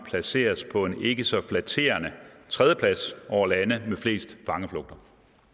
placeres på en ikke så flatterende tredjeplads over lande med flest fangeflugter